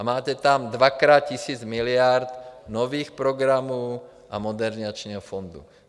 A máte tam dvakrát tisíc miliard nových programů a Modernizačního fondu.